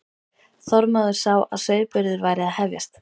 Þormóður þá að sauðburður væri að hefjast.